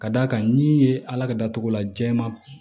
Ka d'a kan n'i ye ala ka datugula jɛman